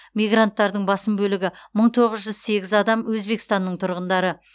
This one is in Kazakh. мигранттардың басым бөлігі мың тоғыз жүз сегіз адам өзбекстанның тұрғындары